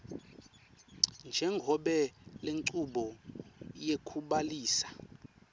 njengobe lenchubo yekubhalisa